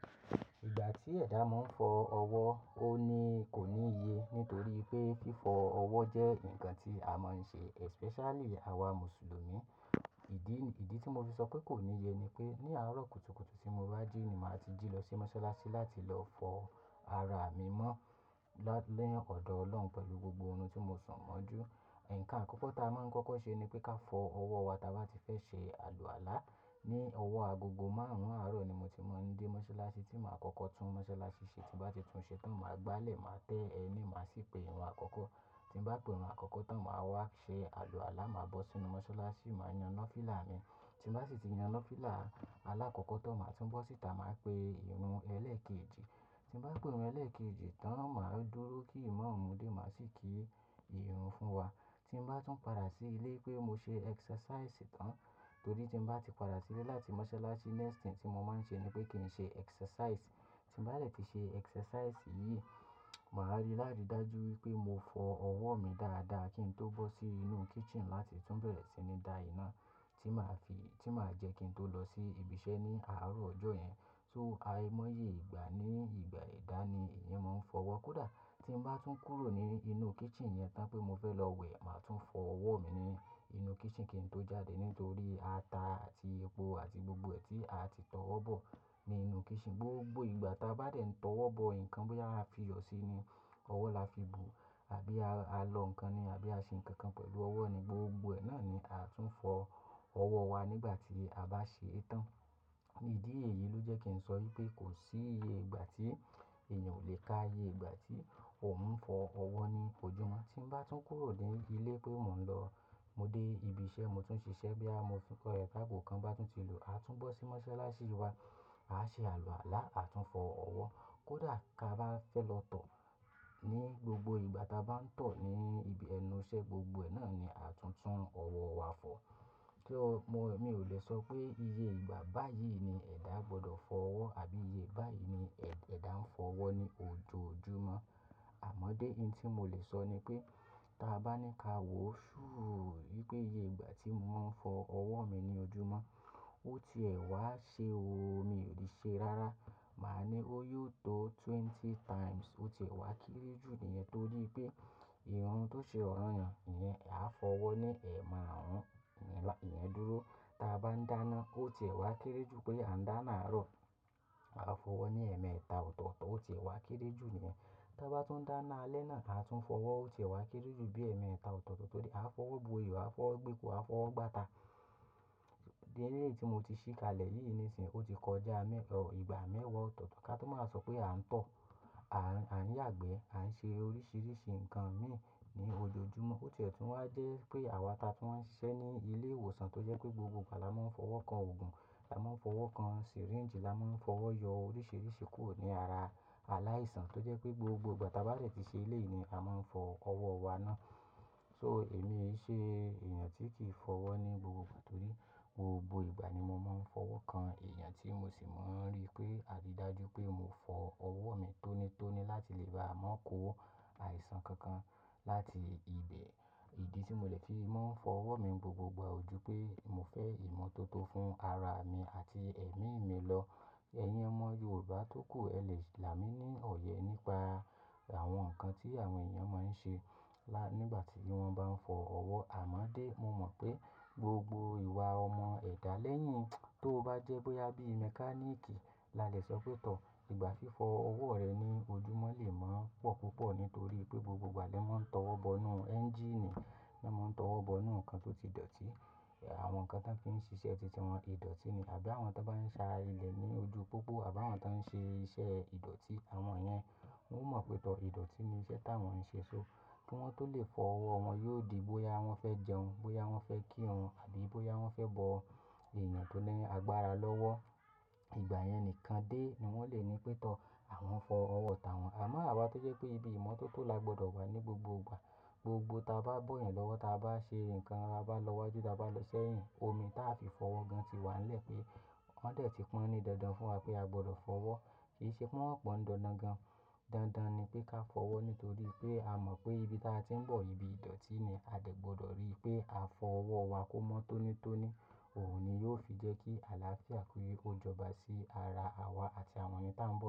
Ìgbà tí ẹ̀dá mó ń fọ ọwọ́, ó ní kò níye nítorí pé fífọ ọwọ́ jẹ́ ǹkan tí a máa ń ṣe especially àwa Mùsùlùmí. Ìdí, ìdí tí mo fi sọ pé kò níye ni pé ní àárọ̀ kùtùkùtù tí mo bá jí ni màá ti jí lọ sí mọ́ṣáláṣí láti lọ fọ ara mi mọ́, ni ọ̀dọ̀ Ọlọ́run pẹ̀lú gbogbo ohun tí mo sùn mọ́jú. Ǹkan àkọ́kọ́ ta máa ń kọ́kọ́ ṣe ni pé ká fọ ọwọ́ wa táa bá ti fẹ́ ṣe àlùàlá. Ni ọwọ́ agogo márùn-ún àárọ̀ ni mo ti máa ń dé mọ́ṣáláṣí tí màá kọ́kọ́ tún mọ́ṣáláṣí ṣe. Tí n bàá ti tún ṣe tán, màá gbálẹ̀, màá tẹ ẹnì, màá sì pe ìrun àkọ́kọ́. Tí n bàá pe ìrun àkọ́kọ́ tán, màá wá ṣe àlùàlá, màá bọ́ sínú mọ́ṣáláṣí, màá yàn fìlà mi. Tí n baá sì ti yàn nafìlà aláàkọ́kọ́ tán, màá tún bọ́ síta, màá pe ìrun ẹ̀ẹ́lé kejì. Tí n baá pe ìrun ẹ̀ẹ́lé kejì tán, màá dúró kí ìmáàmù dé, màá sì kí ìrun fún wa. Tí n bàá tún padà sí ilé pé mo ṣe exercise tán torí tí n bàá ti padà sílé láti mọ́ṣáláṣí, next thing tí mo máa ń ṣe ni pé kí n ṣe exercise. Tí n bàá dẹ̀ ti ṣe exercise yìí, màá rí láàrí dájú wípé mo fọ ọwọ́ mi dáadáa kí n tó bọ́ sí inú kitchen láti tún bẹ̀rẹ̀ sí ní da iná tí màá fi, tí màá jẹ́ kí n tó lọ sí ibi iṣẹ́ ní àárọ̀ ọjọ́ yẹn. So, aiye móye ìgbà ní ìgbà ẹ̀dá ni èèyàn máa ń fọwọ́. Kódà tí ń bá tún kúrò ní inú kitchen yẹn tán pé mo fẹ́ lọ wẹ̀, màá tún fọ ọwọ́ mi ní inú kitchen kí n tó jáde nítorí ata àti epo àti gbogbo ẹ̀ tí a ti tọwọ́ bọ̀ ní inú kitchen. Gbogbo ìgbà táa bá dẹ̀ ń tọwọ́ bọ ǹkan, bóyá a fi iyọ̀ sí i ni, ọwọ́ la fi bù àbí a lọ ǹkan ni àbí a ṣe ǹkan kan pẹ̀lú ọwọ́ ni gbogbo ẹ̀ náà ni à tún fọ ọwọ́ wa nígbà tí a bá ṣe é tán. Ìdí èyí ló jẹ́ kí n sọ wípé kò sí iye ìgbà tí èèyàn ò lé ká iye ìgbà tí òun ń fọ ọwọ́ ní ojúmọ́. Tí ń bá tún kúrò ní ilé pé mò ń lọ, mo dé ibi iṣẹ́, mo tún ṣiṣẹ́ bí a mo fi kọ ẹ káàbó kan bá tún ti lò, a tún bọ́ sí mọ́ṣáláṣí wa, àá ṣe àlùàlá, a tún fọ ọwọ́. Kódà ká bá fẹ́ lọ tọ̀ ní gbogbo ìgbà táa bá ń tọ̀ ní ibi ẹnu iṣẹ́, gbogbo ẹ̀ náà ni à tún tún ọwọ́ wa fọ̀. Ki o mọ, mi ò lè sọ pé iye ìgbà báyìí ni ẹ̀dá gbọdọ̀ fọ ọwọ́ àbí iye báyìí ni ẹ̀, ẹ̀dá ń fọ ọwọ́ ní ojoojúmọ́. Àmọ́ dé hin tí mo lè sọ ni pé, táa bá ní ká wò ṣúù wípé iye ìgbà tí mo máa ń fọ ọwọ́ mi ní ojúmọ́, ó ti ẹ̀ wá ṣe oo, mi ò lè ṣe rárá. Màá ní ó yóò tó twenty times, ó ti ẹ̀ wá kéré jù níyẹn torí pé ìrun tó ṣe ọ̀ranyan, ìyẹn a fọ ọwọ́ ní ẹ̀maarun ìyẹn dúró. Táa bá ń dáná, ó ti ẹ̀ wá kéré jù pé a ń dáná àárọ̀, a fọ ọwọ́ ní ẹ̀ẹ̀mẹta ọ̀tọ̀ọ̀tọ̀, ó ti ẹ̀ wá kéré jù níyẹn. Tí a bá tún dáná alẹ́ náà, a tún fọ ọwọ́, ó ti ẹ̀ wá kéré jù bí ẹ̀ẹ̀mẹta ọ̀tọ̀ọ̀tọ̀ torí a fọwọ́ bo ìyà, a fọwọ́ gbépo, a fọwọ́ gbáta. Die ní èyí tí mo ti ṣì kalẹ̀ yìí nísìnyí, ó ti kọjá ìgbà mẹ́wàá ọ̀tọ̀ọ̀tọ̀ ká tó máa wa sọ pé a ń tọ̀, à, à n yagbẹ̀, à ń ṣe oríṣìíríṣìí ǹkan mi ní ojoojúmọ́. Ó ti ẹ̀ tún wá jẹ́ pé àwa taa tún máa ń ṣiṣẹ́ ní ilé ìwòsàn tó jẹ́ pé gbogbo ìgbà la máa ń fọwọ́ kan oògùn, la máa ń fọwọ́ kan syringe, la máa ń fọwọ́ yọ oríṣìíríṣìí kúrò ní ara aláìsàn tó jẹ́ pé gbogbo ìgbà táa bá dẹ̀ ti ṣe eleyi ni a máa ń fọ ọwọ́ wa ná. So èmi e ṣe èèyàn tí kì í fọ ọwọ́ ní gbogbo ìgbà torí gbogbo ìgbà ni mo máa ń fọwọ́ kan èèyàn tí mo sì máa ń rí pé a rí dájú pé mo fọ ọwọ́ mi tónítóní láti lè bá a mọ kó àìsàn kankan láti ibẹ̀. Ìdí tí mo lè fi máa ń fọ ọwọ́ mi gbogbo ìgbà ò jú pé mo fẹ́ ìmọ́tótó fún ara mi àti ẹ̀mí mi lọ. Ẹ̀yin ọmọ Yorùbá tókù ẹ lè là mí ní ọ̀yẹ nípa àwọn ǹkan tí àwọn èèyàn máa ń ṣe lá, nígbà tí wọ́n bá ń fọ ọwọ́. Àmọ́ dé, mo mọ̀ pé gbogbo ìwà ọmọ ẹ̀dá lẹ́yìn tó bá jẹ́ bóyá bí mẹkáníìkì lalẹ̀ sọ pé tọ̀, ìgbà fífọ ọwọ́ rẹ ní ojúmọ́ lè máa ń pọ̀ púpọ̀ nítorí pé gbogbo ìgbà lẹ́ máa ń tọwọ́ bọ inú ẹ́ńjíìnì, lẹ́ máa ń tọwọ́ bọ inú ǹkan tó ti dọ̀tí. Àwọn ǹkan tí wọ́n fi ń ṣiṣẹ́ títí wọ́n idọ̀tí ni àbí àwọn tó bá ń sa ilẹ̀ ní ojú pópó àbí àwọn tó ń ṣe iṣẹ́ ìdọ̀tí àwọn yẹn, wọ́n mọ̀ pé tọ̀ ìdọ̀tí ni iṣẹ́ táwọn ń ṣe, so kí wọ́n tó lè fọ ọwọ́ wọn yóò di bóyá wọ́n fẹ́ jẹun, bóyá wọ́n fẹ́ kírun àbí bóyá wọ́n fẹ́ bọ èèyàn tó ní agbára lọ́wọ́. Ìgbà yẹn nìkan dé ni wọ́n lè ní pé tọ̀ àwọn fọ ọwọ́ táwọn. Àmọ́ àwa tó jẹ́ pé ibi ìmọ́tótó la gbọdọ̀ wà ní gbogbo ìgbà, gbogbo táa baá bọ́ ẹ̀yin lọ́wọ́, táa báa ṣe ǹkan, bá lọ wájú, báa bá lọ sẹ́yìn, omi táa fi fọwọ́ gan ti wà nílẹ̀ pé wọ́n dẹ̀ ti pọn ní dandan fún wa pé a gbọdọ̀ fọwọ́. Kì í ṣe pé wọ́n ò pọn dandan gan. Dandan ni pé ká fọwọ́ nítorí pé a mọ̀ pé ibi táa ti ń bọ̀ ibi ìdọ̀tí ni, a dẹ̀ gbọdọ̀ rí i pé a fọ ọwọ́ wa kó mọ́ tónítóní. Òhun ni yóò fi jẹ́ kí àlàáfíà kii ó jọba sí ara àwa àti àwọn èèyàn táwọn bọ̀.